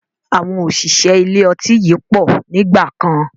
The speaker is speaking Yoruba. Àwọn òṣìṣẹ́ ilé ọtí yìí pọ̀ nígbàkan